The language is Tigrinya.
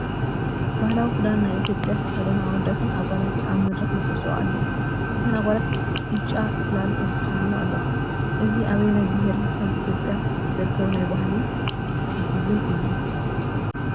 ባህላዊ ክዳን ናይ ኢ/ያ ዝተኸደኑ ኣወዳትን ኣጓላትን ኣብ መድረኽ ይስዕስዑ ኣለው፡፡ እተን ኣጓላት ብጫ ፅላል ወሲኸናላ ኣለዋ፡፡ እዚ ኣበየናይ ቢሄረ ሰብ ኢ/ያ ዝርከቡ ናይ ባህሊ ቡዱን እዮም?